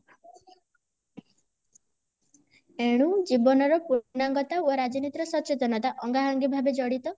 ଏଣୁ ଜୀବନ ର ପୂର୍ଣାଙ୍ଗତା ଓ ରାଜନୀତି ର ସଚେତନତା ଆଙ୍ଗା ଅଙ୍ଗି ଭାବେ ଜଡିତ